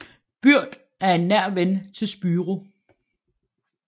Byrd er en nær ven til Spyro